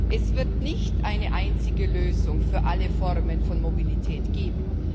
Es wird nicht eine einzige Lösung für alle Formen von Mobilität geben.